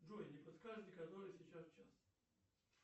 джой не подскажете который сейчас час